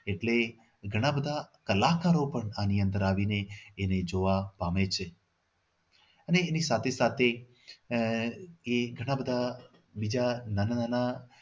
એટલે ઘણા બધા કલાકારો પણ આની અંદર આવીને એને જોવા પામે છે અને એની સાથે સાથે આહ એ ઘણા બધા બીજા નાના